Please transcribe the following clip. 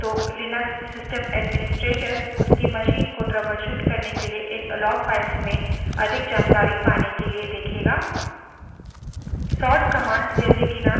यदि कोई समस्या है तो लिनक्स system administrator उसकी machine को troubleshoot करने के लिए इन log files में अधिक जानकारी पाने के लिए देखेगा